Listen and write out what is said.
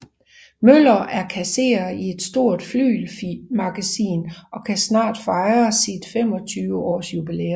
Møller er kasserer i et stort flygelmagasin og kan snart fejre sit 25 års jubilæum